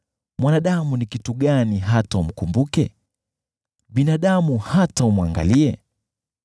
mwanadamu ni kitu gani hata unamfikiria, binadamu ni nani hata unamjali?